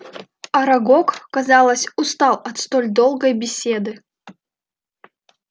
арагог казалось устал от столь долгой беседы